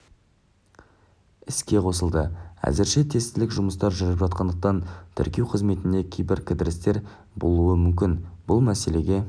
іске қосылды әзірше тестілік жұмыстар жүріп жатқандықтан тіркеу қызметінде кейбір кідірістер болуы мүмкін бұл мәселеге